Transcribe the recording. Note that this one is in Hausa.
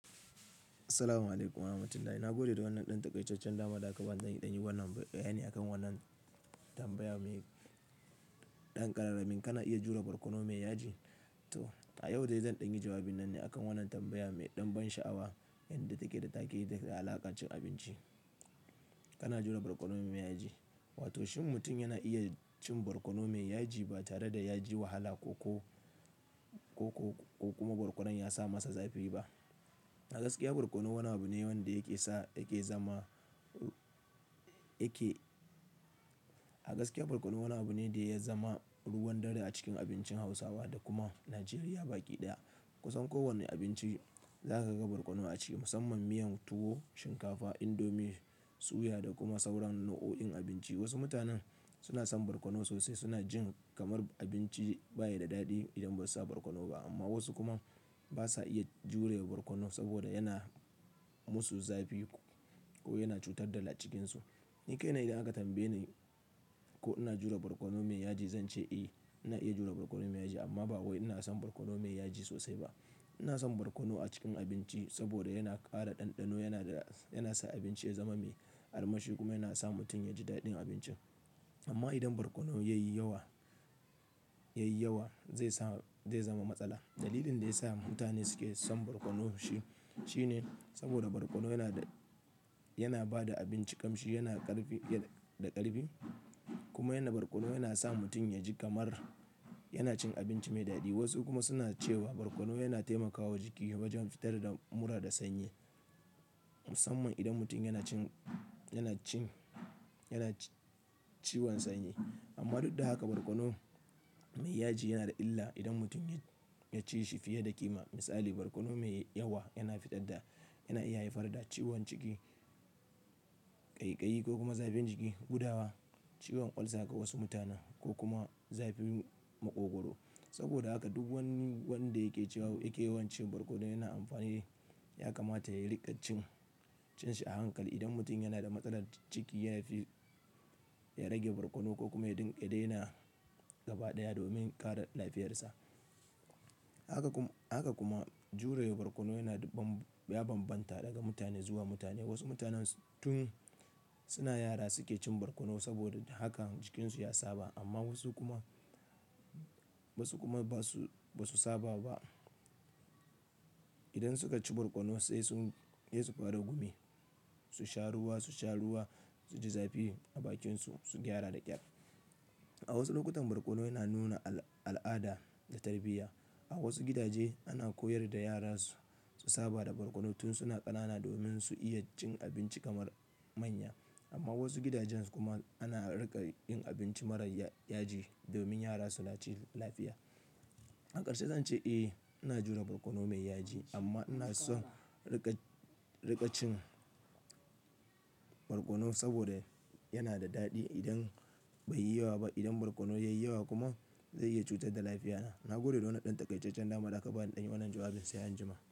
Assalamu'alaikum warahmatullahi. Na gode da wannan ɗan takaisar da aka ba ni. Zan ɗan yi wannan, bayani a kan wannan tambaya mai ɗan ƙararrmin. Kana iya jure barkono mai yaji to? A yau dai zan ɗan yi jawabin nan ne akan wannan tambaya mai ɗan ban sha'awa, inda take da taken da alakar cin abinci. Kana jure barkono mai yaji, wato shin mutum yana iya cin barkono mai yaji ba tare da yaji wahala ko ko ko kuma barkonon yasa masa zafi ba? A gaskiya barkono wani abu ne wanda yake sa yake zama yake-- a gaskiya barkono wani abu ne da ya zama ruwan dare a cikin abincin Hausawa da kuma Najeriya baki ɗaya. Kusan kowanne abinci zaka ga barkono a ciki musamman miyan tuwo, shinkafa, indomi, suya da kuma sauran nau'o'in abinci. Wasu mutanen suna son barkono sosai suna jin kamar abinci bayi da daɗi idan basu sa barkono ba amma wasu kuma basa iya jure barkono saboda yana musu zafi ko yana cutar da lacikinsu. Ni kai na idan aka tambaye ni ko ina jure barkono mai yaji? Zance eh, ina iya jure barkono mai yaji amma ba wai ina son barkono mai yaji sosai ba. Ina son barkono a cikin abinci saboda yana ƙara ɗanɗano yana yana sa abinci ya zama mai armashi kuma yana sa mutum yaji daɗin abincin. Amma idan barkono yayi yawa yayi yawa zai sa, zai zama matsala. Dalilin da yasa mutane suke son barkono shi shine saboda barkono yana da, yana ba da abinci ƙamshi, yana ƙarfi da ƙarfi kuma yana, barkono yana sa mutum yaji kamar yana cin abinci mai daɗi. Wasu kuma suna cewa barkono yana taimakawa jiki wajan fitar da mura da sanyi musamman idan mutum yana cin yana cin yana ciwon sanyi. Amma duk da haka barkono mai yaji yana da illa idan mutum ya ci shi fiye da ƙima. Misali barkono mai yawa yana fitar da, yana iya haifar da ciwon ciki, ƙaiƙayi ko kuma zafin jiki, gudawa, ciwon ucer ga wasu mutanen ko kuma zafin maƙogoro. Saboda haka duk wani wanda yake cewa yake yawan cin barkono yana amfani, yakamata ya riƙa cin, cin shi a hankali. Idan mutum yana da matsalar ciki yafi ya rage barkono ko kuma ya daina gaba ɗaya domin kare lafiyarsa. Haka kuma, haka kuma jure barkono yana, ya banbanta daga mutane zuwa mutane. Wasu mutanen tun suna yara suke cin barkono saboda haka jikinsu ya saba amma wasu kuma wasu kuma ba su ba su saba ba. Idan suka ci barkono sai sun, sai su fara gumi, su sha ruwa, su sha ruwa, suji zafi a bakinsu, su gyara da ƙyar. A wasu lokutan barkono yana nuna al'ada da tarbiyya. A wasu gidaje ana koyar da yara su saba da barkono tun suna ƙanana domin su iya cin abinci kamar manya. Amma wasu gidanjen, su kuma ana riƙa yin abinci marar yaji domin yara su laci lafiya. A ƙarshe zance eh, ina jure barkono mai yaji amma ina son riƙa, riƙa cin barkono saboda yana da daɗi idan bai yi yawa ba. Idan barkono yayi yawa kuma zai iya cutar da lafiyata. Na gode da wannan ɗan taƙaitaccen dama da aka ba ni. In ɗan yi wannan jawabin sai anjima.